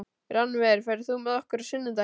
Rannver, ferð þú með okkur á sunnudaginn?